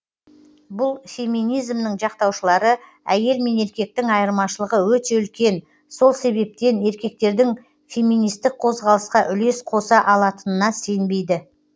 бұл феминизмнің жақтаушылары әйел мен еркектің айырмашылығы өте үлкен сол себептен еркектердің феминистік қозғалысқа үлес қоса алатынына сенбейді